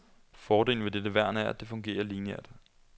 Fordelen ved dette værn er, at det fungerer linieært.